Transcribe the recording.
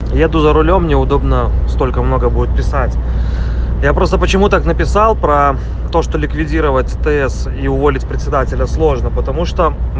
еду за рулём не удобно столько много будет писать я просто почему так написал про то что ликвидировать тс и уволить председателя сложно потому что